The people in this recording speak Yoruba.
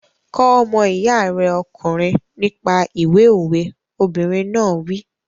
Kọ́ ọmọ iya rẹ ọkùnrin nípa ìwé òwe! Obìnrin náà wí.